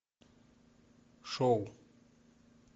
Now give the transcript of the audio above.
шоу